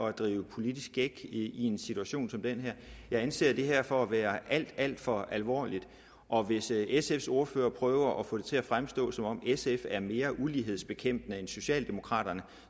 at drive politisk gæk i en situation som den her jeg anser det her for at være alt alt for alvorligt og hvis sfs ordfører prøver at få det til at fremstå som om sf er mere ulighedsbekæmpende end socialdemokraterne